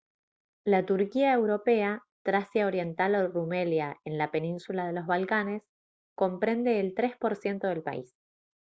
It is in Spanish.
la turquía europea tracia oriental o rumelia en la península de los balcanes comprende el 3 % del país